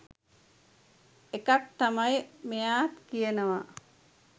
එකක් තමයි මෙයා කියනවා